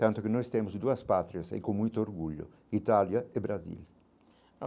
Tanto que nós temos duas patrias e com muito orgulho, Itália e Brasil.